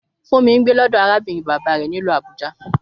Fúnmi ń gbé lọ́dọ̀ arábìnrin bàbá rẹ̀ nílùú Abuja